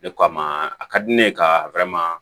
De ko a ma a ka di ne ye ka